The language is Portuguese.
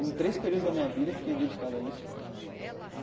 Em três períodos da minha vida eu fiquei dedicado a isso.